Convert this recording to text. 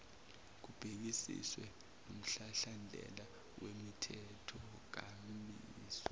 kubhekisiswe nomhlahlandlela wemithethonkambiso